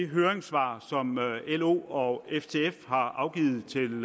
høringssvar som lo og ftf har afgivet til